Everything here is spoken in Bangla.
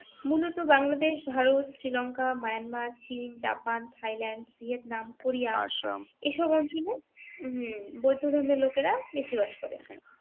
মূলত বাংলাদেশ ভারত শ্রীলংকা মায়ানমার চীন জাপান থাইল্যন্ড ভিয়েতনাম কোরিয়া এসব অঞ্চলে উম বৌদ্ধ ধর্মের লোকেরা বেশি বাস করে ।